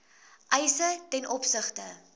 eise ten opsigte